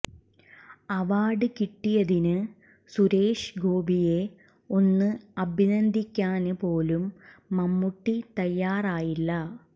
award കിട്ടിയതിന് സുരേഷ് ഗോപിയെ ഒന്ന് അഭിനന്ദിക്കാന് പോലും മമ്മൂട്ടി തയ്യാറായില്ല